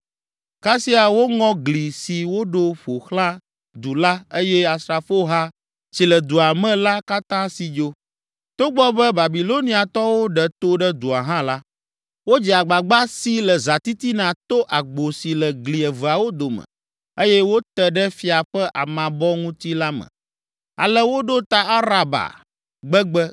Kasia, woŋɔ gli si woɖo ƒo xlã du la eye asrafoha si le dua me la katã si dzo. Togbɔ be Babiloniatɔwo ɖe to ɖe dua hã la, wodze agbagba si le zãtitina to agbo si le gli eveawo dome eye wòte ɖe fia ƒe amabɔ ŋuti la me. Ale woɖo ta Araba gbegbe